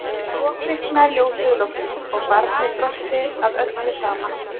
Og svo kviknaði ljósið loksins og barnið brosti að öllu saman.